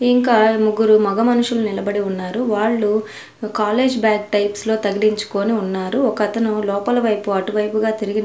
ఇంకా ముగ్గురు మొగ మనుషులు నిలబడి ఉన్నారు వాళ్లు కాలేజీ బ్యాగ్ టైప్స్ లో తగిలించుకొని ఉన్నారు ఒకతను లోపల వైపు అటువైపు గా తిరిగి--